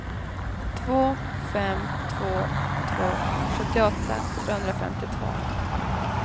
två fem två två sjuttioåtta trehundrafemtiotvå